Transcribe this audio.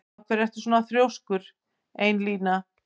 Af hverju ertu svona þrjóskur, Einína?